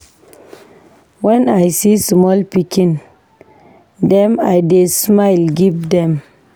Wen I see small pikin dem I dey smile give dem.